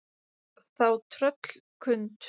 Þá tröllkund